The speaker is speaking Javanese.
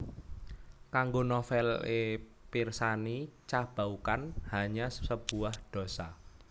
Kanggo novel é pirsani Ca Bau Kan Hanya Sebuah Dosa